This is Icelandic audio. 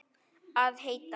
Að hætta?